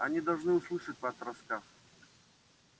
они должны услышать ваш рассказ